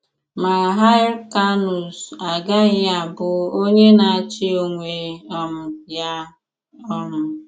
Mà Hyr̀cànus agaghị̀ abụ onye na-àchì onwè um ya. um